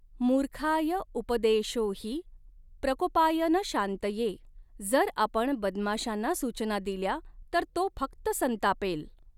मुर्खायऊपदेशोहि प्रकोपाय न शांतये, जर आपण बदमाशांना सूचना दिल्या तर तो फक्त संतापेल.